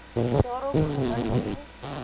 daarop gemik wees